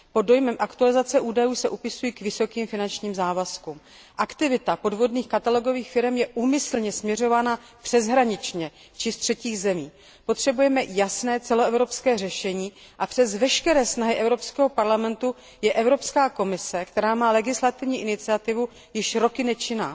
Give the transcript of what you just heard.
Pod dojmem aktualizace údajů se upisují k vysokým finančním závazkům. Aktivita podvodných katalogových firem je úmyslně směřována přeshraničně či z třetích zemí. Potřebujeme jasné celoevropské řešení a přes veškeré snahy Evropského parlamentu je Evropská komise, která má legislativní iniciativu, již roky nečinná.